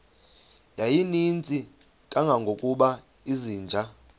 yayininzi kangangokuba izinja